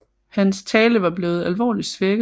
Hans tale var blevet alvorligt svækket